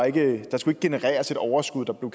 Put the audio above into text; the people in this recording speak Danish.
ikke skulle genereres et overskud der om